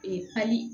Ee pali